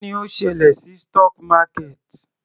Kí ni ó ṣẹlẹ̀ sí stock market?